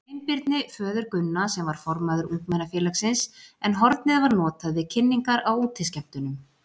Sveinbirni, föður Gunna, sem var formaður ungmennafélagsins, en hornið var notað við kynningar á útiskemmtunum.